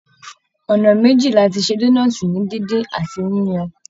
Ọnà méjì láti ṣe donọ́ọ̀tí ni díndín àti yíyan.